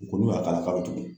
U ko n'u y'a k'a la k'a bɛ tugun